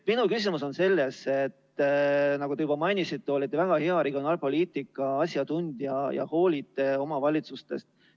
Nagu te ise juba mainisite, olete te väga hea regionaalpoliitika asjatundja ja hoolite omavalitsustest.